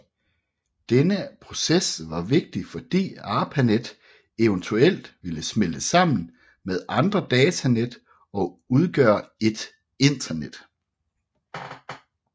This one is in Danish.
Denne proces var vigtig fordi ARPANET eventuelt ville smelte sammen med andre datanet og udgøre et internet